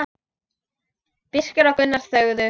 Birkir og Gunnar þögðu.